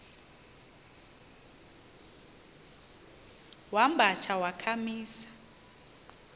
wamba tsha wakhamisa